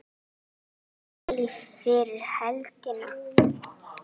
Lillý: Fyrir helgina?